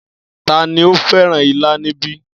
Tani ó fẹ́ràn ilá níbí?